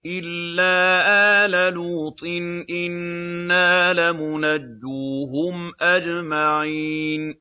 إِلَّا آلَ لُوطٍ إِنَّا لَمُنَجُّوهُمْ أَجْمَعِينَ